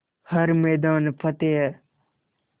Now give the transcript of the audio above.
हर मैदान फ़तेह